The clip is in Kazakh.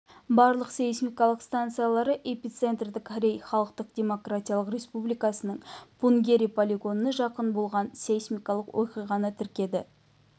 барлық сейсмикалық стансаялары эпицентрі корей халықтық демократиялық республикасының пунгери полигонына жақын болған сейсмикалық оқиғаны тіркеді